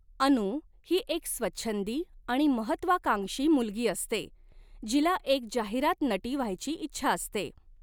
अनु ही एक स्वछंदी आणि महत्वाकांक्षी मुलगी असते जिला एक जाहिरात नटी व्हायची इच्छा असते.